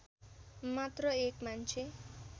मात्र एक मान्छे